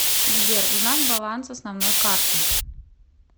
сбер узнать баланс основной карты